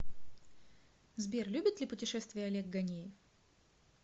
сбер любит ли пушетествия олег гонеев